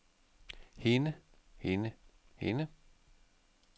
hende hende hende